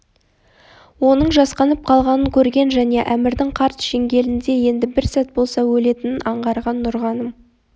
оның жасқанып қалғанын көрген және әмірдің қарт шеңгелінде енді бір сәт болса өлетінін аңғарған нұрғаным